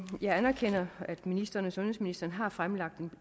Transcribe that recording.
jeg anerkender at ministeren og sundhedsministeren har fremlagt